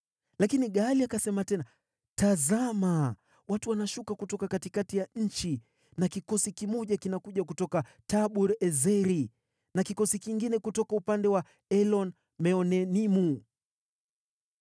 Lakini Gaali akasema tena, “Tazama, watu wanashuka kutoka katikati ya nchi na kikosi kimoja kinakuja kutoka Tabur-Ezeri na kikosi kingine kutoka upande wa Elon-Meonenimu.”